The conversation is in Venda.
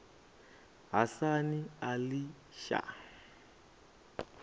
hasan ali shah